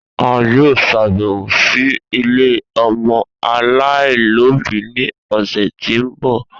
A yoo ṣabẹwo si ile ọmọ alaialobi ni ọsẹ ti n bọ